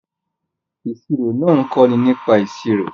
Ìṣirò náà ń kọ́ni nípa ìṣirò